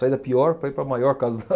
Saí da pior para ir para a maior casa da